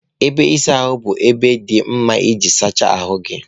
Ebe ịsa ahụ bụ ebe dị mma iji sachaa ahụ gị.